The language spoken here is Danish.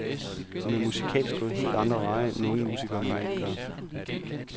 Hun er musikalsk gået helt andre veje, end unge musikere normalt gør.